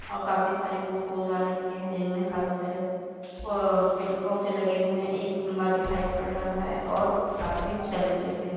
और काफी सारे गू फूलदान रखे है जिनमें काफी सारे प पेड़-पौधे लगे हुए हैं एक खंभा दिखाई पड़ रहा है और आदमी सेल्फी लेते हुए --